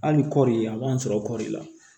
Hali kɔɔri a b'an sɔrɔ kɔɔri la